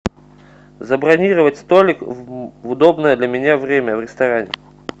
забронировать столик в удобное для меня время в ресторане